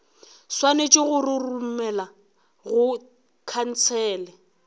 swanetše go romelwa go khansele